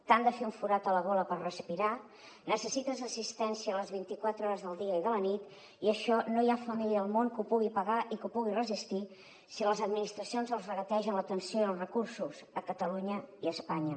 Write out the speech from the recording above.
t’han de fer un forat a la gola per respirar necessites assistència les vint i quatre hores del dia i de la nit i això no hi ha família al món que ho pugui pagar i que ho pugui resistir si les administracions els regategen l’atenció i els recursos a catalunya i a espanya